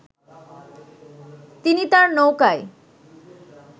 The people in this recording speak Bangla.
তিনি তার নৌকায়